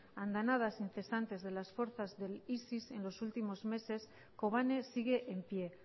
andanadas incesantes de las fuerzas de isis en los últimos meses kobane sigue en pie